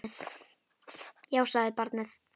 Já, sagði barnið.